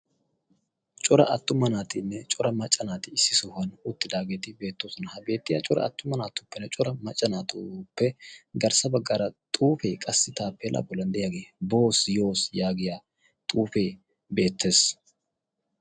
Cora attuma naatinne cora macca naati issi sohuwan uttidaageeti beettoosona. ha beettiya cora aattuma naatuppenne cora macca naatuppe garssa baggaara xuufe qassi taapela bollan de'iyaage booss yooss yaaggiya xuufe beettees.